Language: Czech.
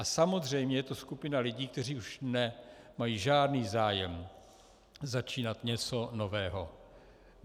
A samozřejmě je to skupina lidí, kteří už nemají žádný zájem začínat něco nového.